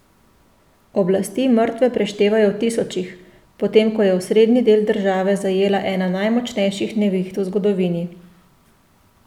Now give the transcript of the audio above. Oblasti mrtve preštevajo v tisočih, potem ko je osrednji del države zajela ena najmočnejših neviht v zgodovini.